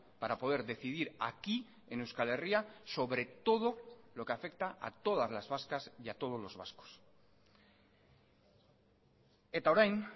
para poder decidir aquí en euskal herria sobre todo lo que afecta a todas las vascas y a todos los vascos eta orain